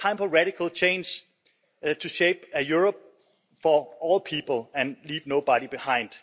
It's time for radical change to shape Europe for all people and leave nobody behind.